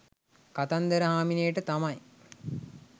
කතන්දර හාමිනේට තමයි